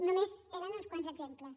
només eren uns quants exemples